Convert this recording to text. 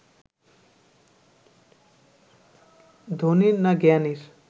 ধনীর না জ্ঞানীর